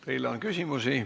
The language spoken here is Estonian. Teile on küsimusi.